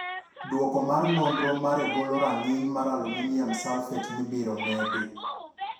Duoko mar nonro maregolo rang'iny mar aluminium sulphate mibiro medi.